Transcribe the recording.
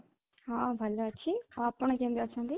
ହଁ, ଭଲ ଅଛି ଆପଣ କେମିତି ଅଛନ୍ତି?